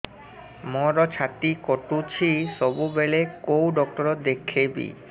ମୋର ଛାତି କଟୁଛି ସବୁବେଳେ କୋଉ ଡକ୍ଟର ଦେଖେବି